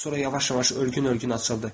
Sonra yavaş-yavaş ölgün-ölgün açıldı.